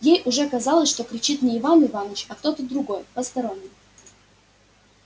ей уже казалось что кричит не иван иваныч а кто-то другой посторонний